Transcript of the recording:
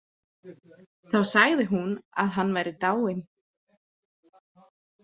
Þá sagði hún að hann væri dáinn.